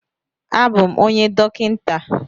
A bụ m onye dọkịnta.